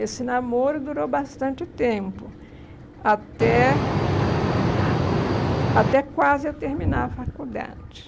Esse namoro durou bastante tempo, até até quase eu terminar a faculdade.